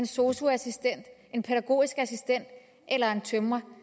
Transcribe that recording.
sosu assistent pædagogisk assistent eller tømrer